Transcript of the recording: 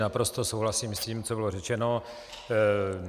Naprosto souhlasím s tím, co bylo řečeno.